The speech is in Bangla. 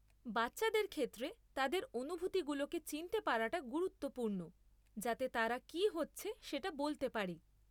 বাচ্চাদের ক্ষেত্রে তাদের অনুভূতিগুলোকে চিনতে পারাটা গুরুত্বপূর্ণ যাতে তারা কী হচ্ছে সেটা বলতে পারে।